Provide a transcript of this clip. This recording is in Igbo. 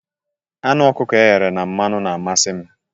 Anụ okuko eghere na mmanụ na-amasi m